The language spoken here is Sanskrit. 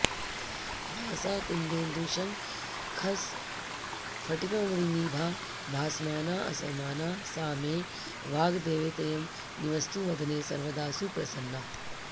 भासा कुन्देन्दुशङ्खस्फटिकमणिनिभा भासमानाऽसमाना सा मे वाग्देवतेयं निवसतु वदने सर्वदा सुप्रसन्ना